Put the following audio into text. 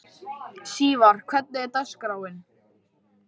Sívar, hvernig er dagskráin?